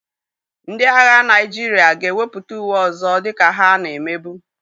Ndị agha Naịjirịa ga-ewepụta uwe ọzọ dịka ha na-emebu.